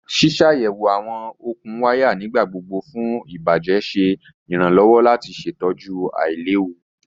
Ṣiṣayẹwo awọn okun waya nigbagbogbo fun ibajẹ ṣe iranlọwọ lati ṣetọju ailewu